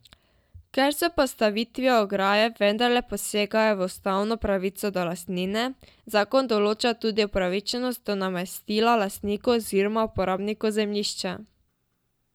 Ker s postavitvijo ograje vendarle posegajo v ustavno pravico do lastnine, zakon določa tudi upravičenost do nadomestila lastniku oziroma uporabniku zemljišča.